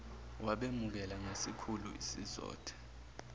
wabemukela ngesikhulu isizotha